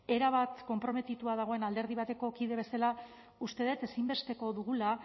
erabat konprometituta dagoen alderdi bateko kide bezala uste dut ezinbesteko dugula